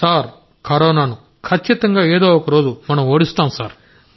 sir కరోనాను ఖచ్చితంగా ఏదో ఒక రోజు మనం ఓడిస్తాం సార్